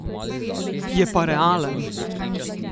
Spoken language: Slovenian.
Je pa realen!